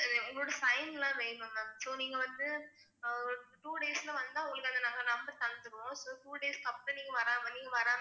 உங்களோட sign ல்லாம் வேணும் ma'am so நீங்க வந்து அஹ் ஒரு two days ல வந்தா உங்களுக்கு நாங்க அந்த number தந்திருவோம் so two days க்கு அப்புறம் நீங்க வராம